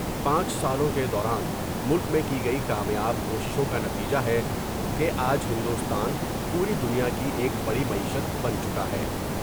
پانچ سالوں کے دوران ملک میں کی گئی کامیاب کوششوں کا نتیجہ ہے کہ آج ہندوستان پوری دنیا کی ایک بڑی معیشت بن چکا ہے ۔